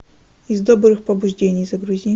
из добрых побуждений загрузи